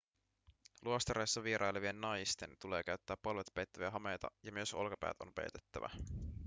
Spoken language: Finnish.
luostareissa vierailevien naisten tulee käyttää polvet peittäviä hameita ja myös olkapäät on peitettävä